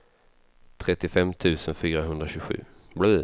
trettiofem tusen fyrahundratjugosju